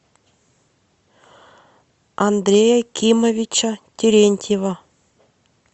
андрея кимовича терентьева